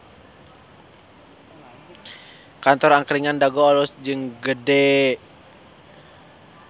Kantor Angkringan Dago alus jeung gede